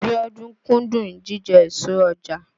Bíọ́dún kúndùn jíjẹ èso ọjà.